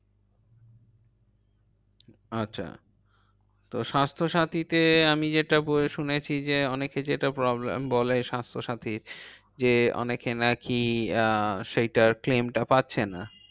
আচ্ছা তো স্বাস্থ্যসাথীতে আমি যেটা শুনেছি যে, অনেকে যেটা problem বলে স্বাস্থ্যসাথীর যে অনেকে নাকি আহ সেইটার claim টা পাচ্ছে না।